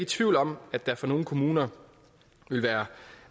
tvivl om at der for nogle kommuner vil være